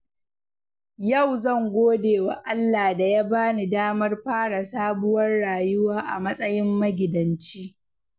Yau zan gode wa Allah da ya bani damar fara sabuwar rayuwa a matsayin magidanci.